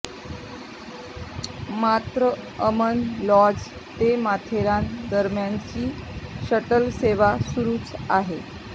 मात्र अमन लॉज ते माथेरान दरम्यानची शटल सेवा सुरूच आहे